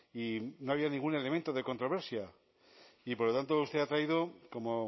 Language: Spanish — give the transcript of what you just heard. y no había ningún elemento de controversia y por lo tanto usted ha traído como